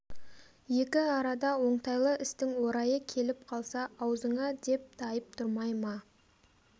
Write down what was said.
екі арада оңтайлы істің орайы келіп қалса аузыңа деп тайып тұрмай ма